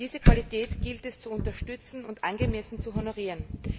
Diese Qualität gilt es zu unterstützen und angemessen zu honorieren.